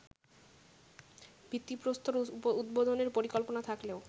ভিত্তিপ্রস্তর উদ্বোধনের পরিকল্পনা থাকলেও